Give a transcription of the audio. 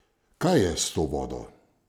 Kaj je s to vodo?